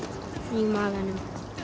í maganum